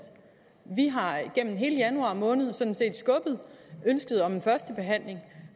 vi har igennem hele januar måned sådan set skubbet ønsket om en første behandling